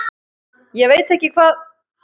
Ég veit ekki hvað